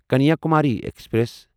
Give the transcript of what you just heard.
Kanyakumari express